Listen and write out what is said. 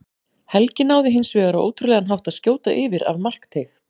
Helgi náði hins vegar á ótrúlegan hátt að skjóta yfir af markteig.